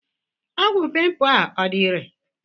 Ọgwụ pimpu a ọ dị irè?